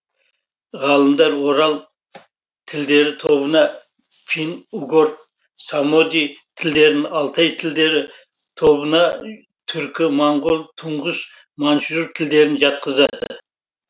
ғалымдар орал тілдері тобына фин угор самоди тілдерін алтай тілдері тобына түркі моңғол туңғыс маньчжур тілдерін жатқызады